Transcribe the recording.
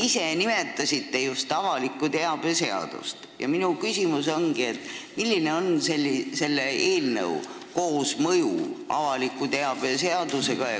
Te nimetasite avaliku teabe seadust ja minu küsimus ongi, milline on selle eelnõu koosmõju avaliku teabe seadusega.